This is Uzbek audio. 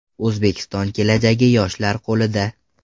O‘zbekiston kelajagi yoshlar qo‘lida!